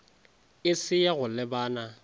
e se ya go lebana